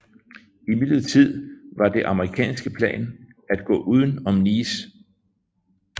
Imidlertid var det amerikanernes plan at gå uden om Nice